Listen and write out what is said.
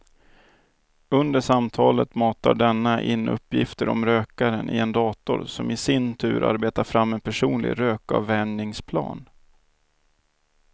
Under samtalet matar denna in uppgifter om rökaren i en dator som i sin tur arbetar fram en personlig rökavvänjningsplan.